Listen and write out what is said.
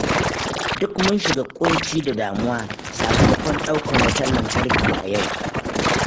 Duk mun shiga kunci da damuwa sakamakon ɗauke wutar lantarki a yau.